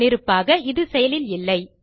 முன்னிருப்பாக இது செயலில் இல்லை